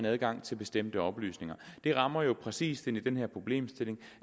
adgang til bestemte oplysninger det rammer jo præcis ind i den her problemstilling